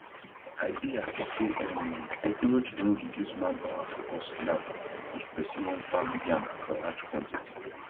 i dey happy say um technology don reduce manpower for us now if person wan farm yam for large quantity